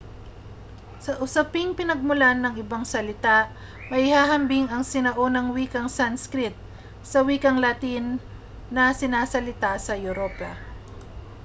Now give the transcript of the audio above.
sa usaping pinagmulan ng ibang salita maihahambing ang sinaunang wikang sanskrit sa wikang latin na sinasalita sa europa